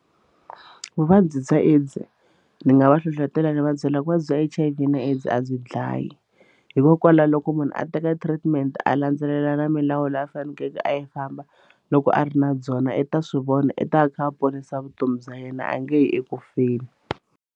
Vuvabyi bya AIDS ndzi nga va hlohletela ni va byela ku a bya H_I_V na AIDS a byi dlayi hikokwalaho loko munhu a teka treatment a landzelela na milawu leyi a fanekeleke a yi famba loko a ri na byona i ta swivona i ta a kha a ponisa vutomi bya yena a nge yi ekufeni.